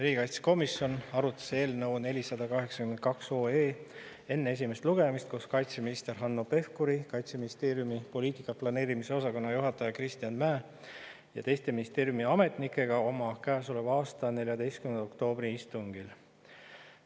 Riigikaitsekomisjon arutas eelnõu 482 enne esimest lugemist koos kaitseminister Hanno Pevkuri, Kaitseministeeriumi poliitika planeerimise osakonna juhataja Kristjan Mäe ja teiste ministeeriumi ametnikega käesoleva aasta 14. oktoobri istungil.